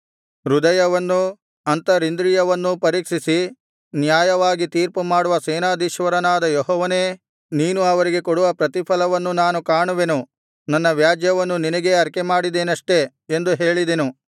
ಹೃದಯವನ್ನೂ ಅಂತರಿಂದ್ರಿಯವನ್ನೂ ಪರೀಕ್ಷಿಸಿ ನ್ಯಾಯವಾಗಿ ತೀರ್ಪುಮಾಡುವ ಸೇನಾಧೀಶ್ವರನಾದ ಯೆಹೋವನೇ ನೀನು ಅವರಿಗೆ ಕೊಡುವ ಪ್ರತಿಫಲವನ್ನು ನಾನು ಕಾಣುವೆನು ನನ್ನ ವ್ಯಾಜ್ಯವನ್ನು ನಿನಗೇ ಅರಿಕೆಮಾಡಿದ್ದೇನಷ್ಟೆ ಎಂದು ಹೇಳಿದೆನು